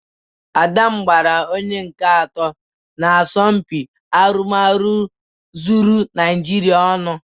Ada m gbara onye nke atọ n'asọmpị arụmarụ zuru Naịjịrịa ọnụ.